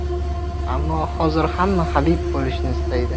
Ammo hozir hamma Habib bo‘lishni istaydi.